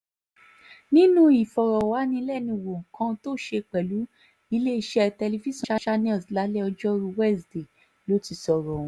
nínú ìfọ̀rọ̀wánilẹ́nuwò kan tó ṣe pẹ̀lú iléeṣẹ́ tẹlifíṣàn lálẹ́ ọjọ́rùú wísidee ló ti sọ̀rọ̀ ọ̀hún